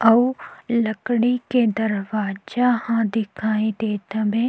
अऊ लड़की के दरवाजा दिखाई देत हवे।